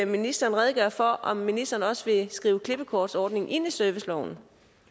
ministeren redegøre for om ministeren også vil skrive klippekortsordningen ind i serviceloven